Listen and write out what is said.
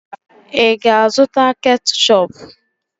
Ị ga-azụta ketchup?